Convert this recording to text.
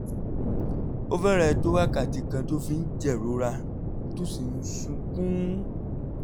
ó fẹ́rẹ̀ẹ́ tó wákàtí kan tó fi ń jẹ̀rora tó sì ń sunkún